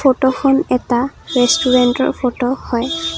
ফটোখন এটা ৰেষ্টুৰেণ্টৰ ফটো হয়।